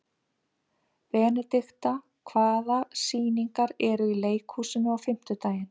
Benidikta, hvaða sýningar eru í leikhúsinu á fimmtudaginn?